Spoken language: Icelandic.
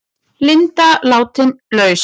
Linda látin laus